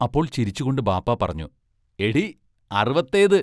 അപ്പോൾ ചിരിച്ചുകൊണ്ട് ബാപ്പാ പറഞ്ഞു: എടീ അറുവത്തേത്.